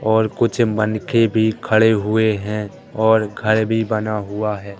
और कुछ मनके भी खड़े हुए हैं और घर भी बना हुआ है।